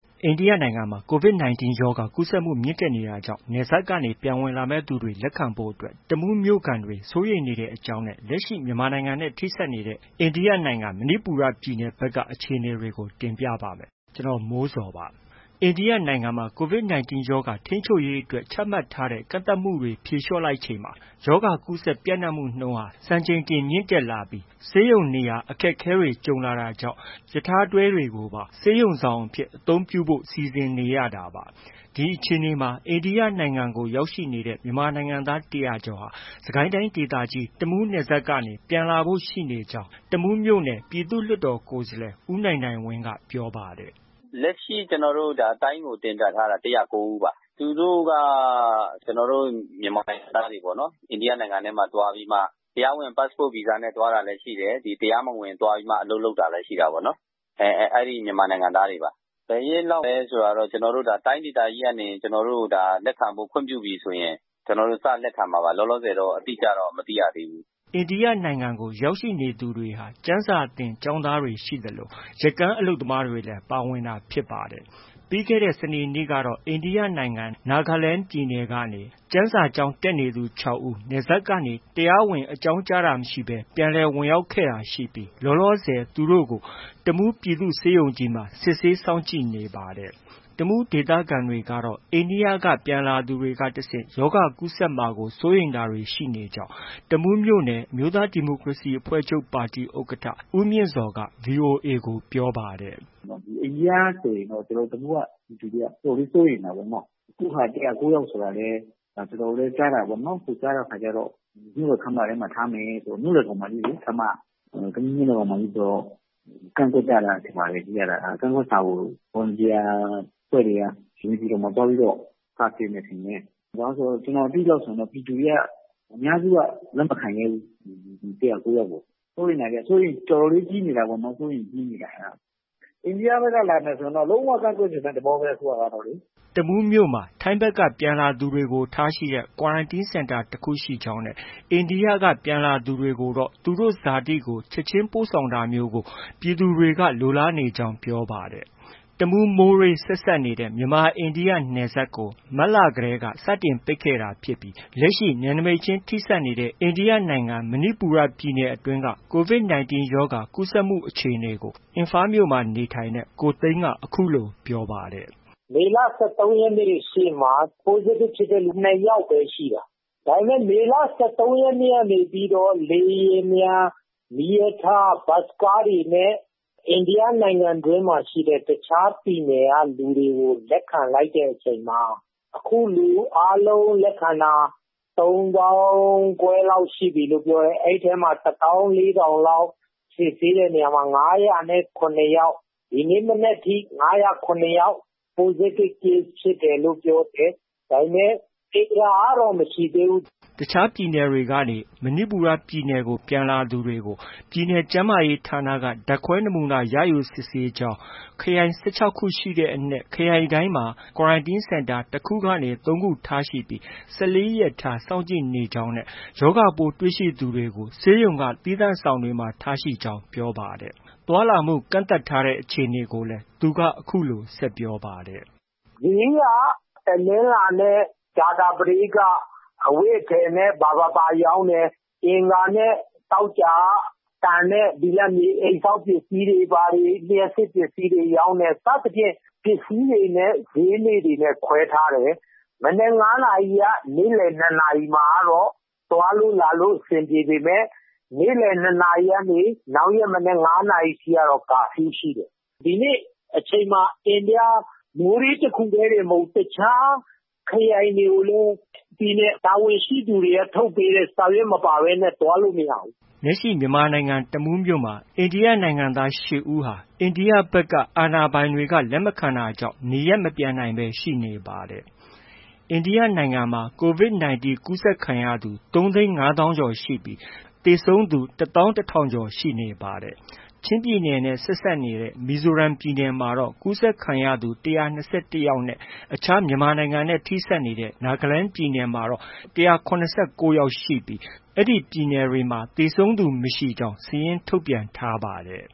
အိန္ဒိယနိုင်ငံမှာ COVID - 19 ကူးစက်မှု မြင့်တက်နေတာကြောင့်နယ်စပ်ကနေ ပြန်ဝင်လာမယ့်သူတွေ လက်ခံဖို့အတွက် တမူးမြို့ခံတွေ စိုးရိမ်နေတဲ့အကြောင်းနဲ့ လက်ရှိ မြန်မာနိုင်ငံနဲ့ ထိစပ်နေတဲ့ အိန္ဒိယနိုင်ငံ မဏိပူရပြည်နယ်ဘက်က အခြေအနေတွေကို ဗွီအိုအေမြန်မာပိုင်းသတင်းထောက် ကိုမိုးဇော်က တင်ပြပေးပါမယ်။ အိန္ဒိယနိုင်ငံမှာ COVID - 19 ရောဂါ ထိန်းချုပ်ရေးအတွက် ချမှတ်ထားတဲ့ ကန့်သတ်မှုတွေ ဖြေလျော့လိုက်ချိန်မှာ ရောဂါကူးစက်ပျံ့နှံ့မှုနှုန်းဟာ စံချိန်တင် မြင့်တက်လာပြီး ဆေးရုံနေရာအခက်အခဲတွေ ကြုံလာတာကြောင့် ရထားတွဲတွေကိုပါ ဆေးရုံဆောင်အဖြစ် အသုံးပြုဖို့ စီစဉ်လာနေရတာပါ။ ဒီအခြေအနေမှာ အိန္ဒိယနိုင်ငံကို ရောက်ရှိနေတဲ့ မြန်မာနိုင်ငံသား ၁၀၀ ကျော်ဟာ စစ်ကိုင်းတိုင်းဒေသကြီး တမူးနယ်စပ်ကနေ ပြန်လာဖို့ ရှိနေကြောင်း တမူးမြို့နယ် ပြည်သူ့လွှတ်တော်ကိုယ်စားလှယ် ဦးနိုင်နိုင်ဝင်းက ပြောပါတယ်။ “လက်ရှိ ကျနော်တို့ တိုင်းကို တင်ပြထားတာ ၁၀၉ ဦးပါ။ သူတို့က ကျနော်တို့ မြန်မာနိုင်ငံသားတွေပေါ့နော်။ အိန္ဒိယနိုင်ငံထဲမှာ သွားပြီးတော့ တရားဝင် Passport၊ Visa နဲ့ သွားတာလည်း ရှိတယ်။ တရားမဝင် သွားပြီးမှ အလုပ်လုပ်တာလည်း ရှိတာပေါ့နော်။ အဲဒီမြန်မာနိုင်ငံသားတွေပါ။ ဘယ်ရက်လောက်လဲ ဆိုတာတော့ ကျနော်တို့ တိုင်းဒေသကြီးကနေ လက်ခံဖို့ ခွင့်ပြုပြီဆိုရင် စလက်ခံမှာပါ။ လောလောဆယ်တော့ အတိအကျတော့ မသိရသေးဘူး။” အိန္ဒိယနိုင်ငံကို ရောက်ရှိနေသူတွေဟာ ကျမ်းစာသင်ကျောင်းသားတွေ ရှိသလို ရက္ကန်းအလုပ်သမားတွေလည်း ပါဝင်တာဖြစ်ပါတယ်။ ပြီးခဲ့တဲ့ စနေနေ့ကတော့ အိန္ဒိယနိုင်ငံ Nagaland ပြည်နယ်မှာ ကျမ်းစာကျောင်းတက်နေသူ ၆ ဦး နယ်စပ်ကနေ တရားဝင်အကြောင်းကြတာမရှိဘဲ ပြန်လည်ဝင်ရောက်လာတာရှိခဲ့ပြီး လောလောဆယ် သူတို့ကို တမူးပြည်သူ့ဆေးရုံကြီးမှာ စစ်ဆေး စောင့်ကြည့်နေပါတယ်။ တမူးဒေသခံတွေကတော့ အိန္ဒိယက ပြန်လာသူတွေက တဆင့် ရောဂါကူးစက်မှာကို စိုးရိမ်တာတွေ ရှိနေကြောင်း တမူးမြို့နယ် အမျိုးသား ဒီမိုကရေစီအဖွဲ့ချုပ်ပါတီ ဥက္ကဋ္ဌ ဦးမြင့်ဇော်က VOA ကို ပြောပါတယ်။ “အိန္ဒိယဆိုရင်တော့ ကျနော်တို့ တမူးက ပြည်သူတွေက တော်တော်လေး စိုးရိမ်တာပေါ့နော။ အခုက ၁၀၉ ယောက်ဆိုတာလည်း ကျနော်တို့လည်း ကြားတာပဲပေါ့။ ကြားတဲ့အခါကျတော့ မြို့တော်ခန်းမထဲမှာ ထားမယ်တဲ့ မြို့လယ်ခေါင်မှာကြီးလေ ခမ်းမက။ တမူးမြို့လယ်ခေါင်မှဆိုတော့ ကန့်ကွက်ကြတာထင်ပါတယ် ကြည့်ရတာ။ ကန့်ကွက်စာကို Volunteer အဖွဲ့တွေက နေပြည်တော်မှာ သွားပြီးတော့ စာတင်တယ်ထင်တယ်။ ကျနော်သိသလောက်ဆိုရင်တော့ ပြည်သူတွေက အများစုက လက်မခံရဲဘူး။ ဒီ ၁၀၉ ယောက်ကို။ စိုးရိမ်တာပေါ့။ အစိုးရိမ်တော်တော်လေး ကြီးနေတာပေါ့။ အိန္ဒိယဘက်က လာမယ်ဆိုရင်တော့ လုံး၀ ကန့်ကွက်ချင်တဲ့သဘောပဲ အခုဟာကလေ။” တမူးမြို့မှာ ထိုင်းဘက်က ပြန်လာသူတွေကို ထားရှိတဲ့ Quarantine Centre တစ်ခုရှိကြောင်း၊ အိန္ဒိယက ပြန်လာသူတွေကိုတော့ သူတို့ ဇာတိကို ချက်ချင်းပို့ဆောင်တာမျိုးကို ပြည်သူတွေက လိုလားနေကြောင်းလည်း ပြောပါတယ်။ တမူး၊ မိုးရေး ဆက်စပ်နေတဲ့ မြန်မာ၊ အိန္ဒိယ နယ်စပ်ကို မတ်လတည်းက စတင်ပိတ်လိုက်တာဖြစ်ပြီး လက်ရှိ နယ်စပ်ချင်း ထိစပ်နေတဲ့ အိန္ဒိယနိုင်ငံ မဏိပူရ ပြည်နယ်အတွင်းက Covid 19 ရောဂါ ကူးစက်မှုအခြေအနေကို အင်ဖာမြို့မှာ နေထိုင်တဲ့ ကိုသိန်းက အခုလို ပြောပါတယ်။ “မေလ ၁၃ ရက်နေ့ ရှေ့မှာ Positive ဖြစ်တဲ့သူ နှစ်ယောက်ပဲ ရှိတာ။ ဒါပေမဲ့ မေလ ၁၃ ရက်နေ့ ကနေပြီးတော့ လေယာဉ်ပျံ၊ မီးရထား၊ ဘတ်စ်ကားတွေနဲ့ အိန္ဒိယနိုင်ငံတွင်းမှာ ရှိတဲ့ တခြားပြည်နယ်က လူတွေကို လက်ခံလိုက်တဲ့အချိန်မှာ အခု လူ အားလုံး လက်ခံတာ ၃၅,၀၀၀ လောက်ရှိပြီလို့ ပြောတယ်။ အဲဒီထဲမှာ ၁၄,၀၀၀ လောက် စစ်ဆေးတဲ့နေရာမှာ ၅၀၇ ယောက်၊ ဒီနေ့ မနက်ထိ ၅၀၇ ယောက် Positive Case ဖြစ်တယ်လို့ ပြောတယ်။ ဒါပေမဲ့ သေတာကတော့ မရှိသေးဘူး။” တခြားပြည်နယ်တွေကနေ မဏိပူရပြည်နယ်ကို ပြန်လာသူတွေကို ပြည်နယ်ကျန်းမာရေးဌာနက ဓါတ်ခွဲနမူနာ ရယူပြီး စစ်ဆေးကြောင်း၊ ခရိုင် ၁၆ ခုရှိတဲ့အနက် ခရိုင်တိုင်းမှာ Quarantine Centre တစ်ခုကနေ ၃ ခုထားပြီး ၁၄ ရက်ထား စောင့်ကြည့်နေကြောင်း၊ ရောဂါပိုးတွေ့ရှိသူတွေကို ဆေးရုံက သီးသန့်ဆောင်တွေမှာ ထားရှိကြောင်း ပြောပါတယ်။ သွားလာမှု ကန့်သတ်ထားတဲ့အခြေအနေကိုလည်း အခုလို ဆက်ပြောပါတယ်။ “ဈေးက တနင်္လာနဲ့ ကြာသပတေးက အဝတ်အထည်နဲ့ ဘာဘာဘာ ရောင်းတယ်။ အင်္ဂါနဲ့ သောကြာက သံနဲ့ ဘိလပ်မြေ အိမ်ဆောက်ပစ္စည်းတွေ ဘာတွေ၊ လျှပ်စစ်ပစ္စည်းတွေ ရောင်းတယ်။ စသည်ဖြင့် ပစ္စည်းတွေနဲ့ ဈေးနေ့တွေလည်း ခွဲထားတယ်။ မနက် ၅ နာရီက နေ့လည် ၂ နာရီမှာ သွားလို့ လာလို့ အဆင်ပြေပေမဲ့ နေ့လယ် ၂ နာရီကနေ နောက်ရက်မနက် ၅ နာရီထိ ကာဖျူးရှိတယ်။ ဒီနေ့အချိန်မှာ အိန္ဒိယ မိုးရေး တစ်ခုတည်းတင်မဟုတ်ဘူး၊ တစ်ခြား ခရိုင်တွေကိုလည်း ပြည်နယ် တာဝန်ရှိသူတွေက ထုတ်ပေးတဲ့ စာရွက် မပါဘဲနဲ့ သွားလို့ မရဘူး။” လက်ရှိမြန်မာနိုင်ငံ တမူးမြို့မှာ အိန္ဒိယနိုင်ငံသား ရှစ် ဦးဟာ အိန္ဒိယအာဏာပိုင်တွေက လက်မခံတာကြောင့် နေရပ်မပြန်နိုင်ဘဲ ရှိနေပါတယ်။ အိန္ဒိယနိုင်ငံမှာ COVID - 19 ကူးစက်ခံရသူ ၃၅၀,၀၀၀ ကျော်ရှိပြီး သေဆုံးသူ ၁၁,၀၀၀ ကျော် ရှိနေပါတယ်။ ချင်းပြည်နယ်နဲ့ ဆက်စပ်နေတဲ့ မီဇိုရမ်ပြည်နယ်မှာတော့ ကူးစက်ခံရသူ ၁၂၁ ယောက်နဲ့ အခြား မြန်မာပြည်နဲ့ ထိစပ်နေတဲ့ Nagaland ပြည်နယ်မှာတော့ ၁၇၉ ယောက်ရှိပြီး အဲဒီပြည်နယ်တွေမှာ သေဆုံးသူမရှိကြောင်း စာရင်း ထုတ်ပြန်ထားပါတယ်